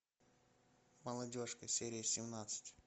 молодежка серия семнадцать